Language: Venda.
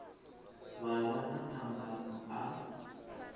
vha vha na phambano a